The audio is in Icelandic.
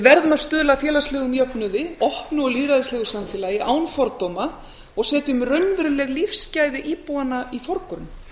verðum að stuðla að félagslegum jöfnuði opnu og lýðræðislegu samfélagi án fordóma og setjum raunveruleg lífsgæði íbúanna í forgrunn